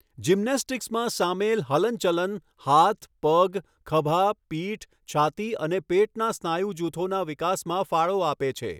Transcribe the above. જિમ્નેસ્ટિક્સમાં સામેલ હલનચલન હાથ, પગ, ખભા, પીઠ, છાતી અને પેટના સ્નાયુ જૂથોના વિકાસમાં ફાળો આપે છે.